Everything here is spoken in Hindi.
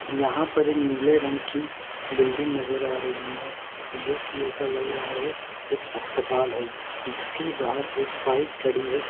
यहां पर एक नीले रंग की बिल्डिंग नजर आ रही है जो कि ऐसा लग रहा है एक अस्पताल है जिसके बाहर एक बाइक खड़ी है।